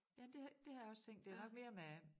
Jamen det det har jeg også tænkt det nok mere med